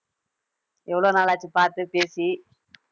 எவ்வளவு நாளாச்சு பார்த்து பேசி